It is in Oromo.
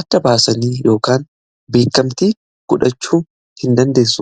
adda baasanii yookaan beekamtii godhachuu hin dandeessu.